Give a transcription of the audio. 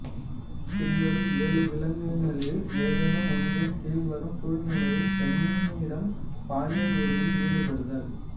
பின்வரும் ஏழு விளக்கங்களில் ஏதேனும் ஒன்றின் கீழ் வரும் சூழ்நிலையில் பெண்ணிடம் பாலியல் உறவில் ஈடுபடுதல்